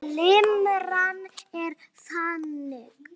Limran er þannig